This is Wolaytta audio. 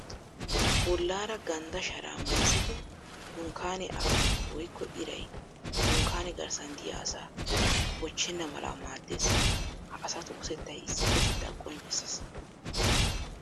Bollaara ganddaa sharaa mayizzidi dunkkaanee away woykko iray dunkkaane garssan diya asaa bochchennan mala maaddees. Ha asatu utettay issippetettaa qonccisses.